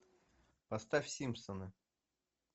поставь симпсоны